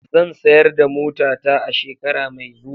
Zan sayar da motata a shekara mai zuwa.